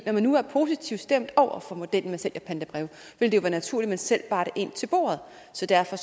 når man nu er positivt stemt over for modellen med sælgerpantebreve ville det være naturligt at man selv bar det ind til bordet så derfor